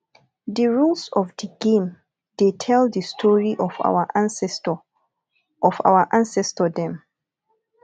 di rules of di game dey tell di story of our ancestor of our ancestor dem